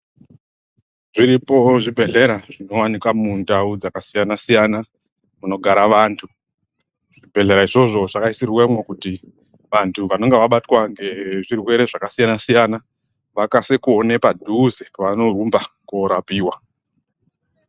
Zviripo zvibhedhlera zvinowanika mundau dzakasiyana siyana munogare vantu. Zvibhedhlera izvozvo zvakaisirwemwo kuti vantu vanenge vabatwa ngezvirwere zvakasiyana siyana vakase kuone padhuze pavanorumba koorapiwa.